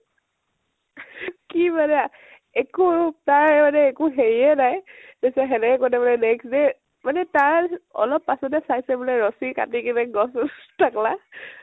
কি মানে হা একু তাৰ মানে একু হেৰিয়ে নাই তা পিছত সেনেকে কৰি থাকোতে next day মানে তাৰ অলপ পাছ্তে চাইছে ৰছী কাটি কেনে গছ চছ তাকলা